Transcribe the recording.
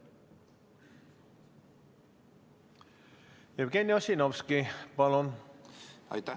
Jevgeni Ossinovski, palun!